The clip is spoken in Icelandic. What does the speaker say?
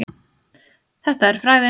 Þetta er frægðin.